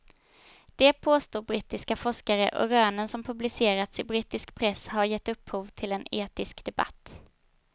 Det påstår brittiska forskare och rönen som publicerats i brittisk press har gett upphov till en etisk debatt.